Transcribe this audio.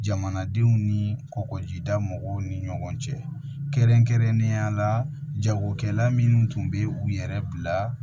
Jamanadenw ni kɔkɔjida mɔgɔw ni ɲɔgɔn cɛ kɛrɛnkɛrɛnnenya la jagokɛla minnu tun bɛ u yɛrɛ bila